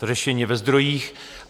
To řešení je ve zdrojích.